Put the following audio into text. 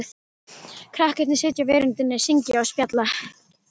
Krakkarnir sitja á veröndinni, syngja og spjalla.